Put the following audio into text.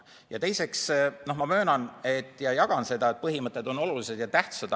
Ja teiseks, ma möönan ja jagan arvamust, et põhimõtted on olulised ja tähtsad.